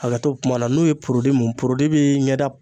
Hakɛto bɛ kuma na n'o ye mun bɛ ɲɛ da